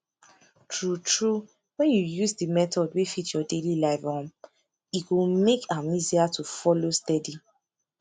true true when you use the method wey fit your daily life um e go make am easier to follow steady